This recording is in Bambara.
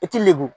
I ti lebu